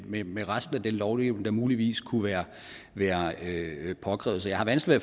med med resten af den lovgivning der muligvis kunne være være påkrævet så jeg har vanskeligt